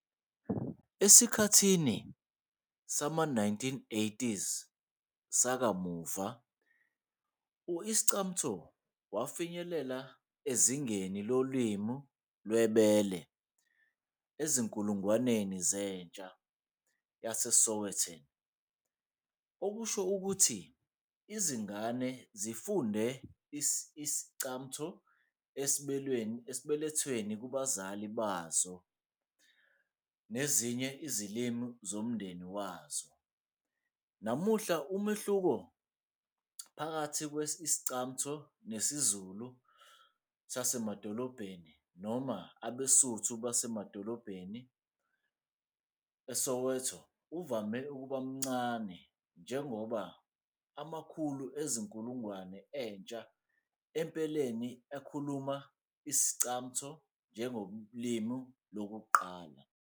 Esikhathini sama-1980s sakamuva, u-Iscamtho wafinyelela ezingeni lolimi lwebele ezinkulungwaneni zentsha yaseSowetan, okusho ukuthi izingane zifunde isi-Iscamtho esibelethweni kubazali bazo kanye nezinye izilimi zomndeni wazo. Namuhla, umehluko phakathi kwe-Iscamtho nesiZulu sasemadolobheni noma abeSuthu basemadolobheni eSoweto uvame ukuba mncane njengoba amakhulu ezinkulungwane zentsha empeleni ekhuluma isi-Iscamtho njengolimi lokuqala.